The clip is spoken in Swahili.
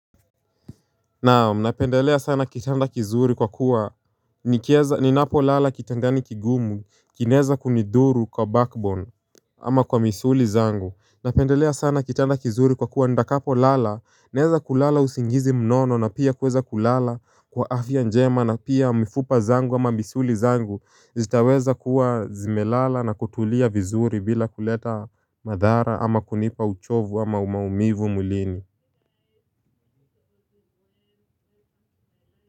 Naam napendelea sana kitanda kizuri kwa kuwa nikieza ninapo lala kitandani kigumu kinaeza kunidhuru kwa backbone. Ama kwa misuli zangu napendelea sana kitanda kizuri kwa kuwa ndakapo lala naeza kulala usingizi mnono na pia kuweza kulala kwa afya njema na pia mifupa zangu ama misuli zangu zitaweza kuwa zimelala na kutulia vizuri bila kuleta madhara ama kunipa uchovu ama umaumivu mwilini.